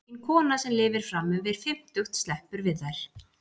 Engin kona sem lifir fram yfir fimmtugt sleppur við þær.